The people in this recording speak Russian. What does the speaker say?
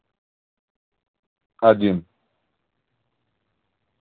один